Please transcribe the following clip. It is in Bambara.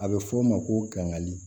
A bɛ f'o ma ko kangali